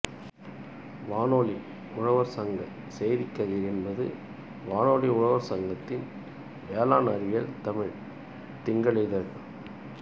வானொலி உழவர் சங்க செய்திக் கதிர் என்பது வானொலி உழவர் சங்கத்தின் வேளாண்அறிவியல் தமிழ் திங்களிதழ்